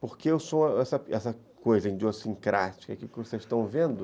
Porque eu sou essa essa coisa idiossincrática que vocês estão vendo.